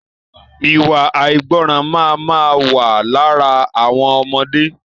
Iwa àìgbọràn máa ma wà lára àwọn ọmọdé